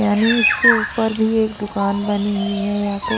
यानी इसके ऊपर भी एक दुकान बनी हुई है या तो--